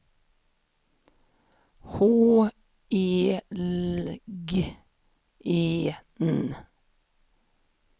H E L G E N